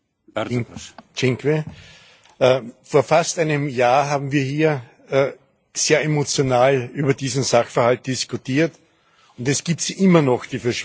Herr Präsident! Vor fast einem Jahr haben wir hier sehr emotional über diesen Sachverhalt diskutiert, und es gibt sie immer noch, die verschwundenen Kinder.